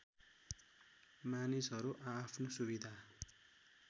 मानिसहरू आआफ्नो सुविधा